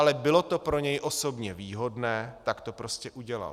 Ale bylo to pro něj osobně výhodné, tak to prostě udělal.